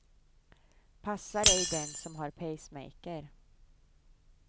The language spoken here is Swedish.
Passar ej den som har pacemaker.